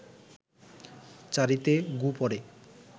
চারিতে গু পড়ে